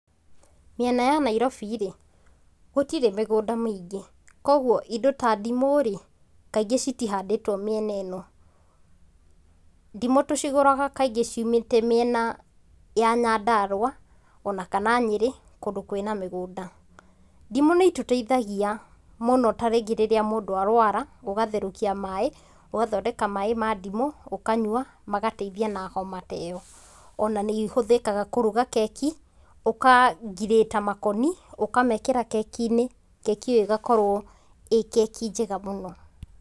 Mĩena ya Nairobĩ rĩ, gũtirĩ mĩgũnda mĩingĩ kogwo indo ta ndimũ rĩ, kaingĩ citihandĩtwo mĩena ĩno. Ndimũ tũcigũraga kaingĩ ciumĩte mĩena ya Nyandarũa ona kana Nyĩrĩ kũndũ kwĩna mĩgũnda. Ndimũ nĩ itũteithagia mũno ta rĩngĩ rĩrĩa mũndũ arũara, ũgatherũkia maĩ, ũgathondeka maĩ ma ndimũ ũkanyua magateithia na homa ta ĩyo. Ona nĩ ihũthĩkaga kũruga keki ukangirĩta makoni ũkamekĩra keki-inĩ, keki ĩyo ĩgakorwo ĩ keki njega mũno.